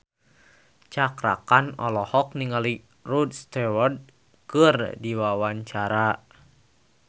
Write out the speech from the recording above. Cakra Khan olohok ningali Rod Stewart keur diwawancara